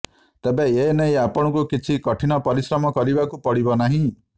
ତେବେ ଏ ନେଇ ଆପଣଙ୍କୁ କିଛି କଠିନ ପରିଶ୍ରମ କରିବାକୁ ପଡ଼ିବ ନାହିଁ